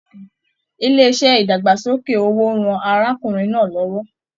Ilé iṣẹ idagbasoke owó rán arákùnrin náà l'ọwọ.